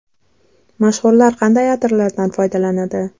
Mashhurlar qanday atirlardan foydalanadi?.